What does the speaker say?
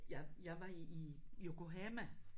Jeg jeg var i i Yokohama